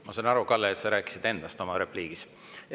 Ma saan aru, Kalle, et sa rääkisid oma repliigis endast.